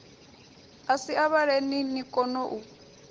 asia a vhaleni ni konou